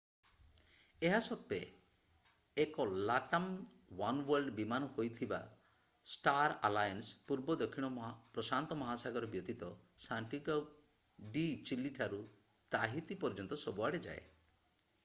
ଏହା ସତ୍ତ୍ୱେ ଏକ latam oneworld ବିମାନ ହୋଇଥିବା ଷ୍ଟାର ଆଲାଏନ୍ସ ପୂର୍ବ ଦକ୍ଷିଣ ପ୍ରଶାନ୍ତ ମହାସାଗର ବ୍ୟତୀତ ସାଣ୍ଟିଆଗୋ ଡି ଚିଲି ଠାରୁ ତାହିତି ପର୍ଯ୍ୟନ୍ତ ସବୁ ଆଡେ ଯାଏ